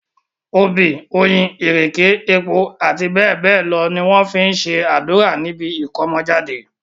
Obì, oyin, ìrèké, epo, àti bẹ́ẹ̀ bẹ́ẹ̀ lọ ni wọ́n fi ń ṣe àdúrà níbi ìkómọjáde.